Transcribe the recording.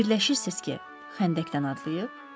Fikirləşirsiniz ki, xəndəkdən atlayıb?